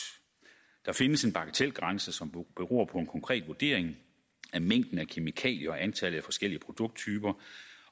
der findes en bagatelgrænse som beror på en konkret vurdering af mængden af kemikalier og antallet af forskellige produkttyper